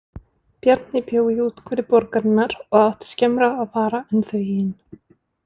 Bjarni bjó í úthverfi borgarinnar og átti skemmra að fara en þau hin.